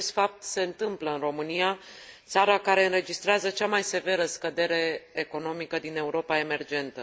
Acest fapt se întâmplă în România, țara care înregistrează cea mai severă scădere economică din Europa emergentă.